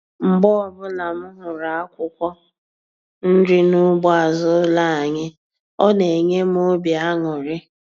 Mgbe ọbụla m hụrụ akwụkwọ nri n'ugbo azụ ụlọ anyị, ọ na-enye m obi aṅụrị